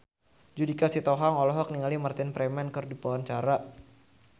Judika Sitohang olohok ningali Martin Freeman keur diwawancara